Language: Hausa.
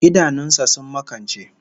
Idanun sa sun makance